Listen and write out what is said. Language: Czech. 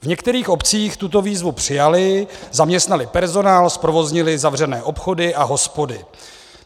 V některých obcích tuto výzvu přijali, zaměstnali personál, zprovoznili zavřené obchody a hospody.